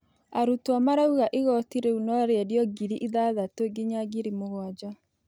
Arũtwo maraũga ĩgotĩ rĩũ no rĩendĩo ngĩrĩ ithathatu nginya ngĩrĩ mũgwanja